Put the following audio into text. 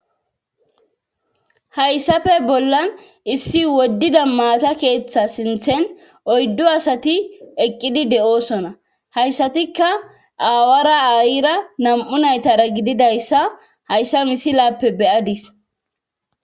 hayssafe bollan issi woddida maasa keeththa sinthen oyddu asati eqqidi de7osona hayssatikka aawara aayira nam7u naytara gididayssa hayssa misi laappe beyadis